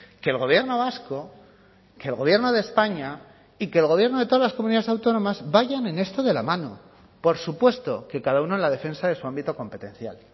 que el gobierno vasco que el gobierno de españa y que el gobierno de todas las comunidades autónomas vayan en esto de la mano por supuesto que cada uno en la defensa de su ámbito competencial